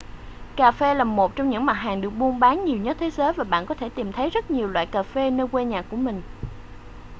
cà phê là một trong những mặt hàng được buôn bán nhiều nhất thế giới và bạn có thể tìm thấy rất nhiều loại cà phê nơi quê nhà của mình